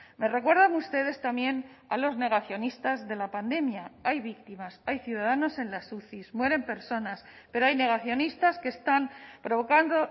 me recuerdan ustedes también a los negacionistas de la pandemia hay víctimas hay ciudadanos en las uci mueren personas pero hay negacionistas que están provocando